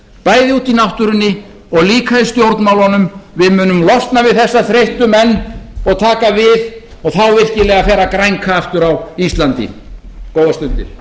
bæði úti í náttúrunni og líka í stjórnmálunum við munum losna við þessa þreyttu menn og taka við og þá virkilega fer að grænka aftur á íslandi góðar stundir